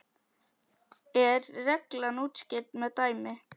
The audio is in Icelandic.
er reglan útskýrð með dæmi